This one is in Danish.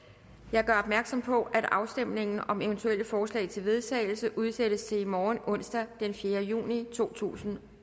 jeg gør opmærksom på at afstemning om eventuelle forslag til vedtagelse udsættes til i morgen onsdag den fjerde juni to tusind